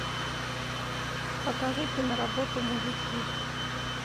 покажи киноработу мужики